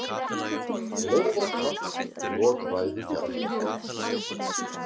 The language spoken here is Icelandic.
Lófaklapp í lok ræðu Bjarna